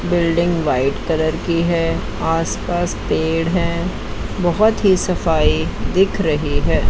Building white colour की है आस पास पेड़ हैं बहुत ही सफ़ाई दिख रही है।